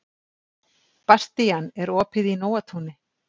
Bastían, er opið í Nóatúni?